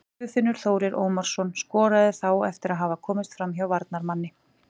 Guðfinnur Þórir Ómarsson skoraði þá eftir að hafa komist framhjá varnarmanni.